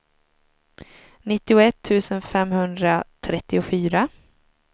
nittioett tusen femhundratrettiofyra